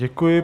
Děkuji.